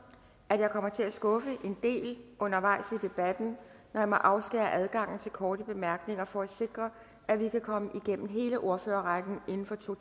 at jeg kommer til at skuffe en del undervejs i debatten når jeg må afskære adgangen til korte bemærkninger for at sikre at vi kan komme igennem hele ordførerrækken inden for to